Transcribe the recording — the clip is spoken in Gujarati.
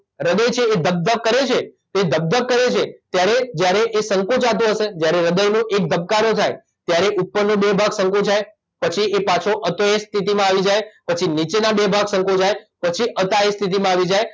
હ્રદય છે એ ધક ધક કરે છે એ ધક ધક કરે છે ત્યારે જ્યારે એ સંકોચાતો હશે જ્યારે હ્રદયનો એક ધબકારો થાય ત્યારે ઉપરના બે ભાગ સંકોચાય પછી એ પાછો હતો એ સ્થિતિમાં આવી જાય પછી નીચેના બે ભાગ સંકોચાય પછી હતા એ સ્થિતિમાં આવી જાય